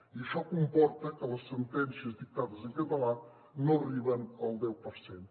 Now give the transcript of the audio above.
i això comporta que les sentències dictades en català no arriben al deu per cent